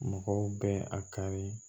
Mɔgɔw bɛ a kari